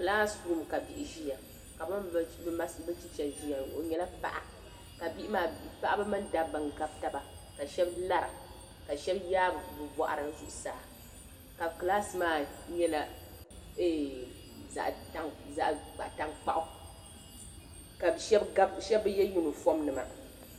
Kilaasirum ka bihi mini bɛ chicha ʒia o nyɛla paɣa ka bihi maa paɣiba mini dabba n-gabi taba ka shɛba lara ka shɛba yaai bɛ bɔɣiri zuɣusaa ka kilaasi nyɛ eeh zaɣ' taŋkpaɣu ka shɛba bi ye yunifɔmnima.